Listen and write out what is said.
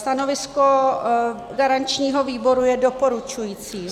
Stanovisko garančního výboru je doporučující.